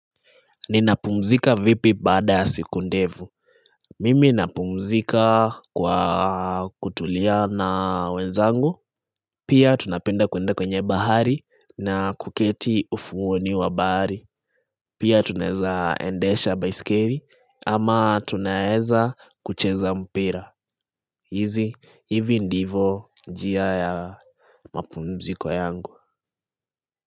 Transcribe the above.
Ninapumzika vipi baada ya siku ndevu. Mimi napumzika kwa kutulia na wenzangu. Pia tunapenda kuenda kwenye bahari na kuketi ufuoni wa bahari Pia tunaeza endesha baiskeri ama tunaeza kucheza mpira. Hizi, hivi ndivo njia ya mapumziko yangu.